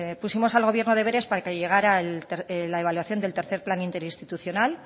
pusimos al gobierno deberes para que llegara la evaluación del tercer plan interinstitucional